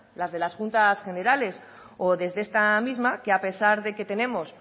las de las juntas generales o desde esta misma que a pesar de que tenemos